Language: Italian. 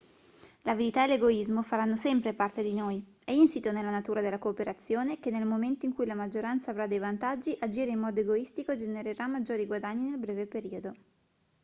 l'avidità e l'egoismo faranno sempre parte di noi è insito nella natura della cooperazione che nel momento in cui la maggioranza avrà dei vantaggi agire in modo egoistico genererà maggiori guadagni nel breve periodo